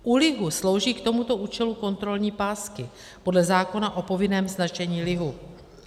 U lihu slouží k tomuto účelu kontrolní pásky podle zákona o povinném značení lihu.